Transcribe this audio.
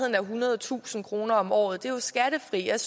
af ethundredetusind kroner om året det er jo skattefrit jeg